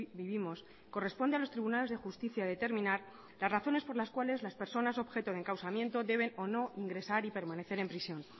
vivimos corresponde a los tribunales de justicia determinar las razones por las cuales las personas son objeto de encausamiento deben o no ingresar y permanecer en prisión